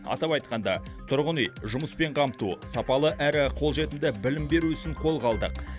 атап айтқанда тұрғын үй жұмыспен қамту сапалы әрі қолжетімді білім беру ісін қолға алдық